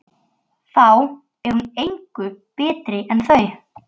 Þá er hún engu betri en þau.